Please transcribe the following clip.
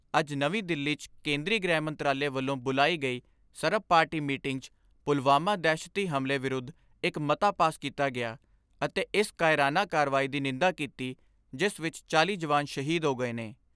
ਅੱਜ ਨਵੀਂ ਦਿੱਲੀ 'ਚ ਕੇਂਦਰੀ ਗ੍ਰਹਿ ਮੰਤਰਾਲੇ ਵੱਲੋਂ ਬੁਲਾਈ ਗਈ ਸਰਬ ਪਾਰਟੀ ਮੀਟਿੰਗ 'ਚ ਪੁਲਵਾਮਾ ਦਹਿਸ਼ਤੀ ਹਮਲੇ ਵਿਰੁੱਧ ਇਕ ਮਤਾ ਪਾਸ ਕੀਤਾ ਗਿਆ ਅਤੇ ਇਸ ਕਾਇਰਾਨਾ ਕਾਰਵਾਈ ਦੀ ਨਿੰਦਾ ਕੀਤੀ ਜਿਸ ਵਿਚ ਚਾਲ੍ਹੀ ਜਵਾਨ ਸ਼ਹੀਦ ਹੋ ਗਏ ਨੇ।